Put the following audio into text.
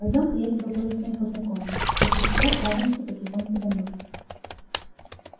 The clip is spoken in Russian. пойдём я тебя кое с кем познакомлю после чего отправимся потихоньку домой